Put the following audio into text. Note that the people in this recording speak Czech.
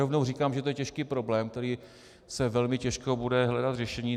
Rovnou říkám, že je to těžký problém, kde se velmi těžko bude hledat řešení.